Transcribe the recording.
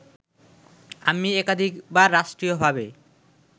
আমি একাধিকবার রাষ্ট্রীয়ভাবে